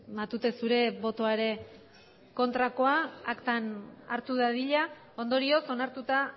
matute zure botoa ere kontrakoa aktan hartu dadila ondorioz onartuta